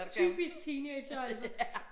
Typisk teenagere altså